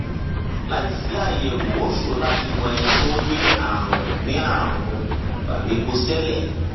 láìsí àyẹwò ó ṣòro láti mọ ẹni tó ní ààrùn ní ààrùn varicocele